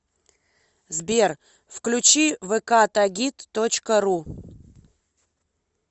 сбер включи вэ ка тагит точка ру